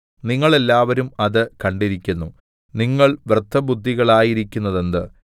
നിങ്ങൾ എല്ലാവരും അത് കണ്ടിരിക്കുന്നു നിങ്ങൾ വ്യർത്ഥബുദ്ധികളായിരിക്കുന്നതെന്ത്